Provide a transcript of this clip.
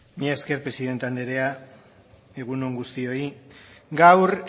mila esker presidente anderea egun on guztioi gaur